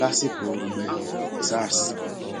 lásìkò rọgbẹẹhàn sars